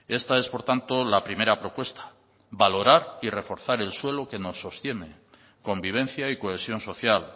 esta es por tanto la primera propuesta valorar y reforzar el suelo que nos sostiene convivencia y cohesión social